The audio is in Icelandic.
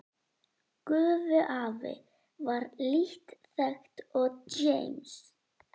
Gufuafl var lítt þekkt og James